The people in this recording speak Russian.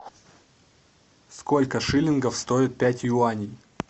сколько шиллингов стоит пять юаней